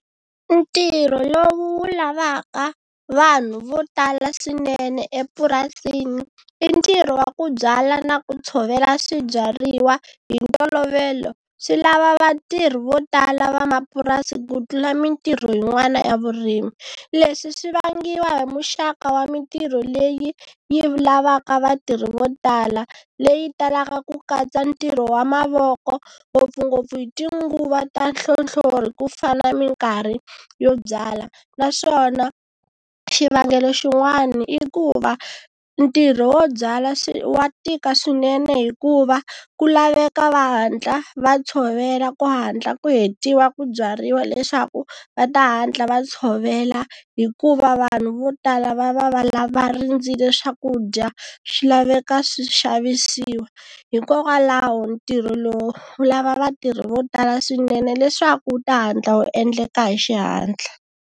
Ntirho lowu lavaka vanhu vo tala swinene epurasini i ntirho wa ku byala na ku tshovela swibyariwa, hi ntolovelo swi lava vatirhi vo tala vamapurasi ku tlula mitirho yin'wana ya vurimi. Leswi swi vangiwa hi muxaka wa mitirho leyi yi lavaka vatirhi vo tala leyi talaka ku katsa ntirho wa mavoko ngopfungopfu hi tinguva ta nhlohlori ku fana ni mikarhi yo byala. Naswona xivangelo xin'wani i ku va ntirho wo byala wa tika swinene hikuva ku laveka va hatla va tshovela ku hatla ku hetiwa ku byariwa leswaku va ta hatla va tshovela hikuva vanhu vo tala va va va lava rindzile swakudya swi laveka swi xavisiwa, hikokwalaho ntirho lowu wu lava vatirhi vo tala swinene leswaku u ta hatla wu endleka hi xihatla.